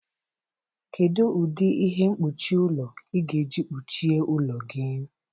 Kedu ụdị ihe mkpuchi ụlọ ị ga-eji kpuchie ụlọ gị?